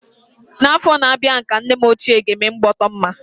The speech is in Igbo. N'afọ na-abịa ka nne m ochie ga-eme ịgbọtọmma.